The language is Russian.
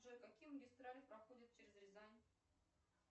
джой какие магистрали проходят через рязань